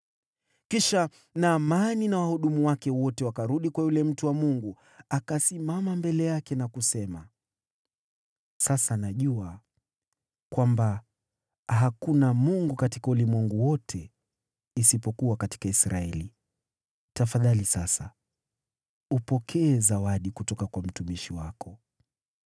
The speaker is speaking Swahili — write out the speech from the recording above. Kisha Naamani na wahudumu wake wote wakarudi kwa yule mtu wa Mungu. Akasimama mbele yake na kusema, “Sasa najua kwamba hakuna Mungu katika ulimwengu wote isipokuwa katika Israeli. Tafadhali sasa upokee zawadi kutoka kwa mtumishi wako.”